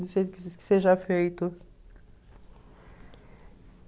que seja feito.